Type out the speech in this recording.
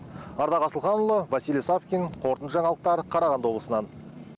ардақ асылханұлы василий савкин қорытынды жаңалықтар қарағанды облысынан